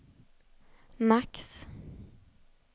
max